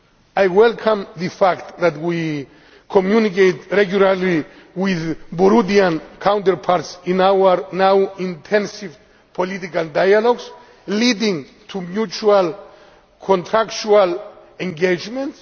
I welcome the fact that we communicate regularly with Burundian counterparts in our now intensive political dialogue, leading to mutual contractual engagements.